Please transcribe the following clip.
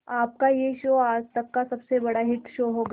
आपका यह शो आज तक का सबसे बड़ा हिट शो होगा